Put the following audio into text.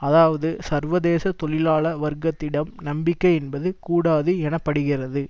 அதாவது சர்வதேச தொழிலாள வர்க்கத்திடம் நம்பிக்கை என்பது கூடாது எனப்படுகிறது